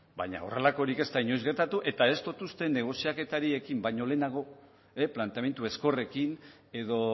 baina horrelakorik ez da inoiz gertatu eta ez dut uste negoziaketari ekin baino lehenago planteamendu ezkorrekin edo